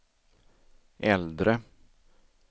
äldre